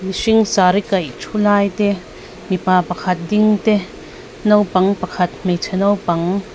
mihring saree kaih thu lai te mipa pakhat ding te naupang pakhat hmeichhe naupang--